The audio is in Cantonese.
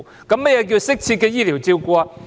何謂"適切的醫療照顧"？